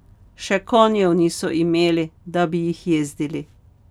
Še konjev niso imeli, da bi jih jezdili.